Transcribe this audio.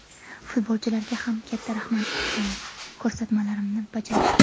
Futbolchilarga ham katta rahmat aytaman, ko‘rsatmalarimni bajarishdi.